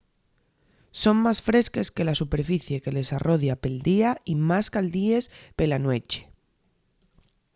son más fresques que la superficie que les arrodia pel día y más caldies pela nueche